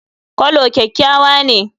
Coulor kyakkyawa ne.